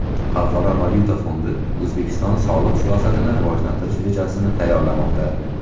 Xalqaro valyuta fondi O‘zbekiston soliq siyosatini rivojlantirish rejasini tayyorlamoqda.